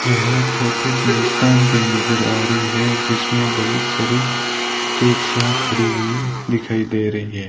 यह फोटो कब्रिस्तान की नजर आ रही है जिसमें बहुत सारी टैक्सियां खड़ी हुई दिखाई दे रही है।